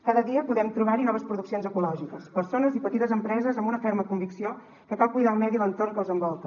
cada dia podem trobar hi noves produccions ecològiques persones i petites empreses amb una ferma convicció que cal cuidar el medi i l’entorn que els envolta